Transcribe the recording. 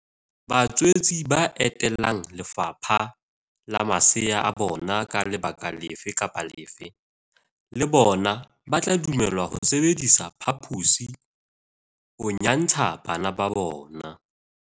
Batswetse ba etelang le fapha le masea a bona ka lebaka lefe kapa lefe le bona ba tla dumellwa ho sebedisa phaposi ho nyantsha bana ba bona.